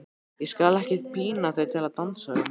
Ég skal ekki pína þig til að dansa við mig.